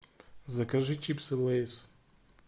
закажи чипсы лейс